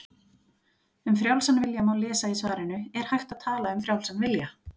Um frjálsan vilja má lesa í svarinu Er hægt að tala um frjálsan vilja?